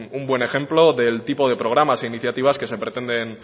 un buen ejemplo del tipo de programas e iniciativas que se pretenden